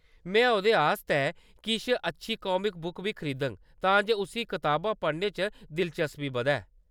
में ओह्‌‌‌‌दे आस्तै किश अच्छी कामिक बुक्स बी खरीदङ तां जे उस्सी किताबां पढ़ने च दिलचस्पी बधै।